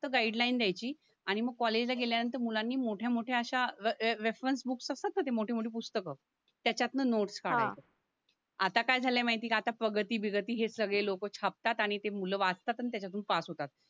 फक्त गाईडलाईन द्यायची आणि म कॉलेजला गेल्यानंतर मुलांनी मोठ्या मोठ्या अश्या रे र रेफरन्स बुक्स असतात ना ते मोठी मोठी पुस्तकं त्यांच्यातनं नोट्स हा काढायचे आता काय झाले माहितीये का आता प्रगती बिगती हे सगळे लोकं छापतात आणि ते मुलं वाचतात आणि त्याच्यातून पास होतात